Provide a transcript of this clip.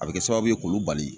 A bɛ kɛ sababu ye k'olu bali.